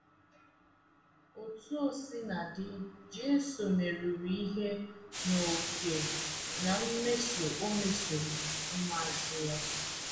Otú o sina dị, Jisọs meruru ihe n’ókè ná mmeso o mesoro ụmụazụ ya.